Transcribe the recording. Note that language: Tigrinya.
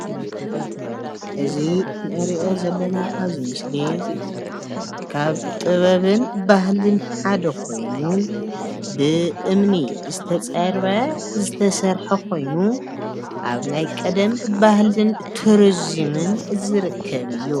እዚ ንርኦ ዘለና ካብዚ ምስሊ ካብ ጥበብን ባህልን ሓደ ኮይኑ ብእምኒ ዝተፀርበ ዝተሰረሓ ኮይኑ ኣብ ናይ ቀደም ባህልን ቱሩዝምን ዝርከብ እዩ።